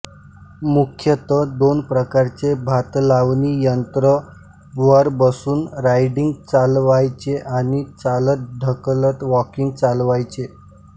मुख्यतः दोन प्रकारचे भातलावणी यंत्र वर बसून राईडिंग चालवायचे आणि चालतढकलत वॉकिंग चालवायचे